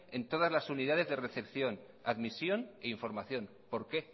en todas las unidades de recepción admisión e información por qué